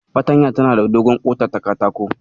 Fartanya tana da dogon ƙota ta katako.